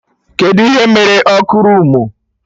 Kedụ ihe mere ọkụ roomu?